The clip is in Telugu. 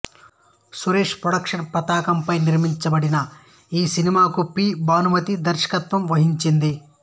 సురేష్ ప్రొడక్షన్స్ పతాకంపై నిర్మించబడిన ఈ సినిమాకు పి భానుమతి దర్శకత్వం వహించింది